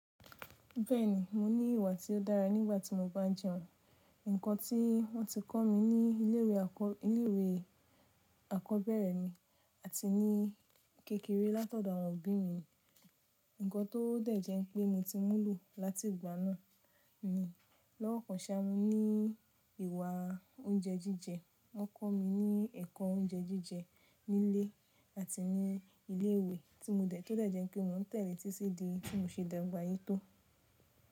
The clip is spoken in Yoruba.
Bẹ́ẹ̀ni, mo ní ìwà tí ó dára nígbà tí mo bá jẹun. Ǹkan tí wọ́n ti kọ́ mi ní ilé ìwé àkọ́bẹ̀rẹ̀ mi àti ní kékeré látọ̀dọ̀ àwọn òbí mi. Ǹkan tó dẹ̀jẹ́ pé mo ti múlo láti ìgbà náà ni. Lọ́wọ́ kan ṣá, mo ní ìwà oúnjẹ jíjẹ. Wọ́n kọ́ mi ní ẹ̀kọ́ oúnjẹ jíjẹ nílé àti ní ilé ìwé tí mo dẹ̀ tó dẹ̀jẹ́ pé mo n tẹ̀lé títí di tí mo ṣe dàgbà yí tó.